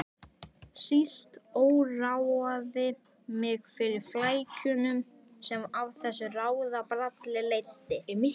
Síst óraði mig fyrir flækjunum sem af þessu ráðabralli leiddi.